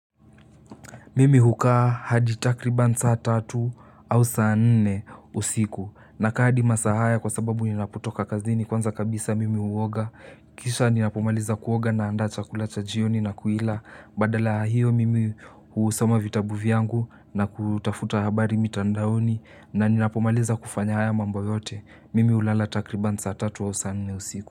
Mimi hukaa hadi takriban saa tatu au saa nne usiku nakaa hadi masaa haya kwa sababu ninapotoka kazini kwanza kabisa mimi huoga. Kisha ninapomaliza kuoga naanda chakula cha jioni na kuila. Badala ya hio mimi husoma vitabu vyangu na kutafuta habari mitandaoni na ninapomaliza kufanya haya mambo yote. Mimi hulala takriban saa tatu au saa nne usiku.